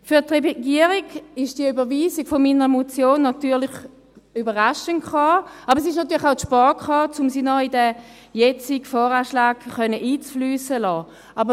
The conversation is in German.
Für die Regierung kam die Überweisung meiner Motion überraschend, und sie kam natürlich auch zu spät, um sie noch in den jetzigen VA einfliessen zu lassen.